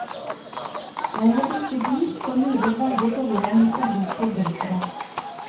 Jeg har ikke bil og lurer veldig på hvordan det skal bli til vinteren.